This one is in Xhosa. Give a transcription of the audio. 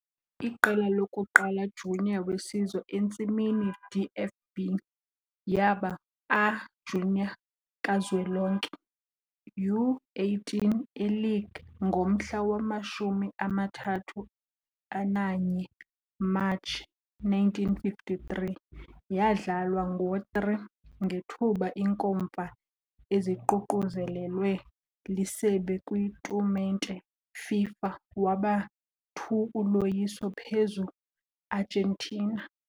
Iqela lokuqala junior wesizwe entsimini DFB yaba A-junior kazwelonke, U-18, e Liege ngomhla wama-31 Matshi 1953, yadlalwa ngo-3, ngethuba inkomfa eziququzelelwe liSebe kwitumente FIFA, waba 2 uloyiso phezu Argentina.